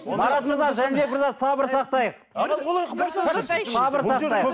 марат мырза жәнібек мырза сабыр сақтайық сабыр сақтайық